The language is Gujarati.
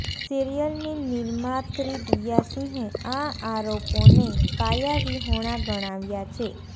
સિરિયલની નિર્માત્રી દિયા સિંહે આ આરોપોને પાયાવિહોણા ગણાવ્યા છે